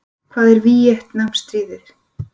Hvað er Víetnamstríðið?